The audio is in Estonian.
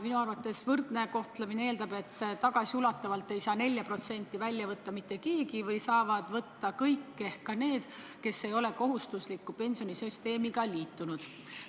Minu arvates võrdne kohtlemine eeldab, et tagasiulatuvalt seda 4% ei saa välja võtta mitte keegi või selle raha saavad kõik ehk ka need, kes ei ole kohustusliku pensionisüsteemiga liitunud.